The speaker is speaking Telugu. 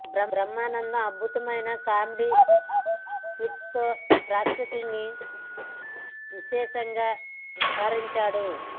బ్రహ్మానందం అద్భుతమైన కామెడీ స్కిట్స్ తో ప్రేక్షకులని విశేషంగా అలరించాడు